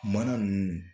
Mana ninnu